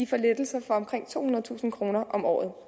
får lettelser for omkring tohundredetusind kroner om året